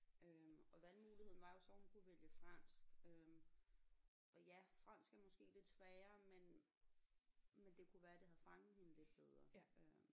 Øh og valgmuligheden var jo så hun kunne vælge fransk øh og ja fransk er måske lidt sværere men men det kunne være det havde fanget hende lidt bedre øh